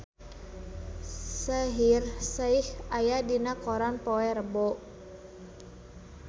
Shaheer Sheikh aya dina koran poe Rebo